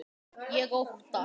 Ég óttast.